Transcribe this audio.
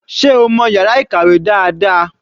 Sé o mọ̀ yàrá ìkàwé dáadáa?